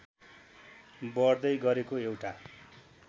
बढ्दै गरेको एउटा